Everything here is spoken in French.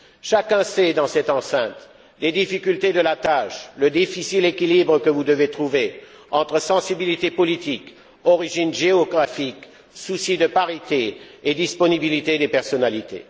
Chacun connaît, dans cette enceinte, les difficultés de la tâche, le difficile équilibre que vous devez trouver entre sensibilité politique, origine géographique, souci de parité et disponibilité des personnalités.